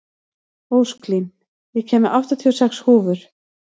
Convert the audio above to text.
Ósklín, ég kom með áttatíu og sex húfur!